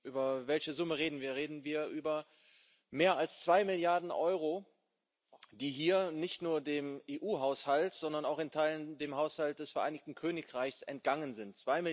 Über welche Summe reden wir? Wir reden über mehr als zwei Milliarden Euro, die hier nicht nur dem EU Haushalt, sondern auch in Teilen dem Haushalt des Vereinigten Königreichs entgangen sind.